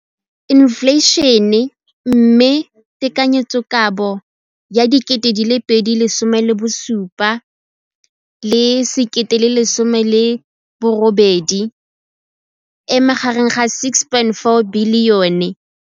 Infleišene, mme tekanyetsokabo ya 2017, 18, e magareng ga R6.4 bilione.